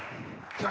Nii.